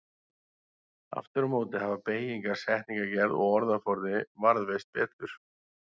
Aftur á móti hafa beygingar, setningagerð og orðaforði varðveist betur.